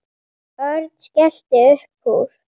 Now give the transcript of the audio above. Örn skellti upp úr.